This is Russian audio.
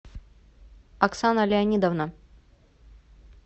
оксана леонидовна